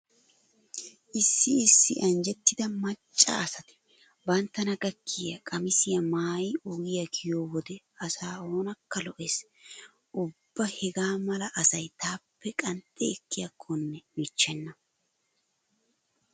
Issi issi anjjettida macca asati banttana gakkiya qamisiya maayi ogiya kiyiyo wode asaa oonakka lo'ees. Ubba hegaa mala asay taappe qanxxi ekkiyakkonne michchenna.